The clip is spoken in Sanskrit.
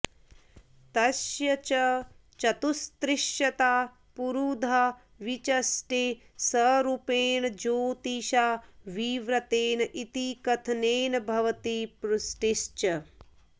तस्य च चतुस्त्रिशता पुरुधा विचष्टे सरूपेण ज्योतिषा विव्रतेन इति कथनेन भवति पुष्टिश्च